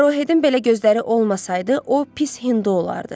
Arohedin belə gözləri olmasaydı, o pis hindu olardı.